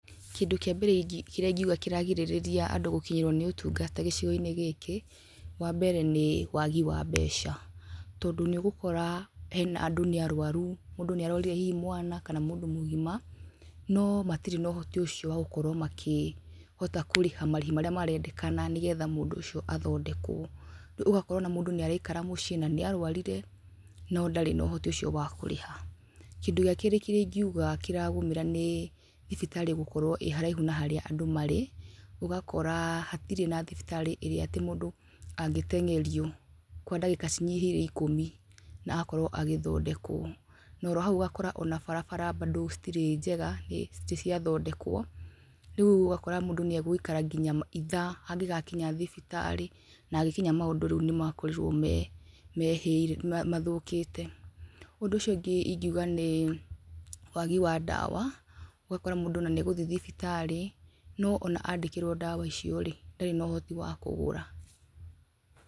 Kĩndũ kĩa mbere kĩrĩa ingiuga kĩragirĩrĩria andũ gũkinyĩrwo nĩ ũtungata gĩcigo-inĩ gĩkĩ wa mbere nĩ wagi wa mbeca, tondũ nĩ ũgũkora andũ nĩ arũaru, mũndũ nĩ arwaririe hihi mwana kana mũndũ mũgima, no matirĩ na ũhoti ũcio wa gũkorwo makĩhota kũrĩha marĩhi marĩa marendekana nĩ getha mũndũ ũcio athondekwo, rĩu ũgakora mũndũ ona nĩ araikara mũciĩ na nĩarwarire no ndarĩ na ũhoti ũcio wa kũrĩha. Kĩndũ gĩa keerĩ kĩrĩa ingiuga kĩragũmĩra nĩ thibitarĩ gũkorwo ĩ haraihu na harĩa andũ marĩ, ũgakora hatirĩ na thibitarĩ ĩría atĩ mũndũ angĩteng'erio kwa ndagĩka cinyihĩire ikũmi na akorwo agĩthondekwo. Na oro hau ũgakora barabara bado citirĩ njega citirĩ ciathondekwo, rĩu ũgakora mũndũ nĩ agũikara nginya ithaa angĩgakinya thibitarĩ, na agĩkinya maũndũ rĩu nĩmakorirwo mathũkĩte. Ũndũ ũcio ũngĩ ingiuga nĩ wagi wa ndawa, ũgakora mũndũ ona nĩ agũthiĩ thibitarĩ, no ona andĩkĩrwo ndawa icio rĩ, ndarĩ na ũhoti wa kũgũra.